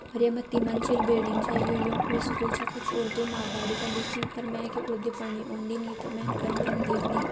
ओर ये मा ती मंजिल बिल्डिंग छ। यूं यों कु स्कूल छ। कुछ उर्दू म अगाड़ि पर लिख्युं पर मैंकि उर्दि पढ़नि औन्दी नी त मैंन कन कन देखणी।